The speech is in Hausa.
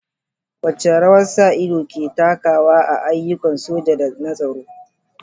Wace rawa sa ido ke takawa a ayyukan soji da na tsaro?